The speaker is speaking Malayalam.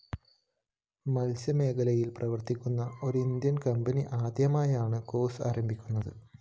മത്സ്യമേഖലയില്‍ പ്രവര്‍ത്തിക്കുന്ന ഒരിന്ത്യന്‍ കമ്പനി ആദ്യമായാണ് കോർസ്‌ ആരംഭിക്കുന്നത്